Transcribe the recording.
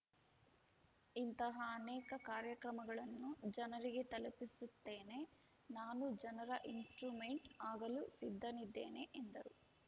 ಇಂತಹ ಅನೇಕ ಕಾರ್ಯಕ್ರಮಗಳನ್ನು ಜನರಿಗೆ ತಲುಪಿಸುತ್ತೇನೆ ನಾನು ಜನರ ಇನ್‌ಸ್ಟ್ರುಮೆಂಟ್‌ ಆಗಲು ಸಿದ್ಧನಿದ್ದೇನೆ ಎಂದರು